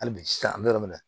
Hali bi sisan an be yɔrɔ min na